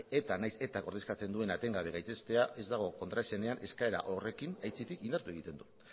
eta nahiz eta ordezkatzen duen gaitzestea ez dago kontraesanean eskaera horrekin aitzitik indartu egiten du